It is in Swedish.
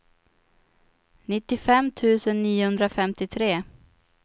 nittiofem tusen niohundrafemtiotre